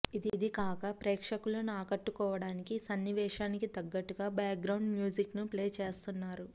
ఇది కాక ప్రేక్షకులను ఆకట్టుకోవడానికి సన్నివేశానికి తగ్గట్టుగా బ్యాక్ గ్రౌండ్ మ్యూజిక్ను ప్లే చేస్తున్నారు